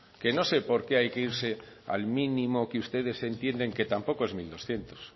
que no sé por qué hay que irse al mínimo que ustedes entienden que tampoco es mil doscientos